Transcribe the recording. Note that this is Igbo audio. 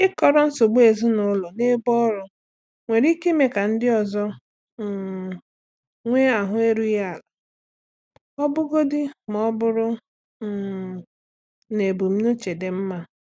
Ịkọrọ nsogbu ezinụlọ n’ebe ọrụ nwere ike ime ka ndị ọzọ um nwee ahụ erughị ala, ọbụgodi ma ọ bụrụ um na ebumnuche dị mma.